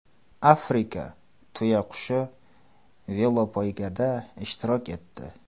Afrika tuyaqushi velopoygada ishtirok etdi .